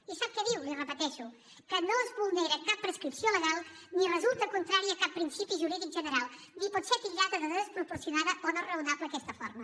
i sap què diu li ho repeteixo que no es vulnera cap prescripció legal ni resulta contrari a cap principi jurídic general ni pot ser titllada de desproporcionada o no raonable aquesta forma